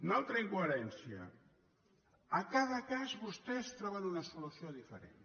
una altra incoherència a cada cas vostès troben una solució diferent